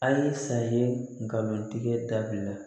A ye san ye nkalon tigɛ dabila